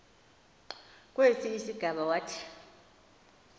kwesi sigama wathi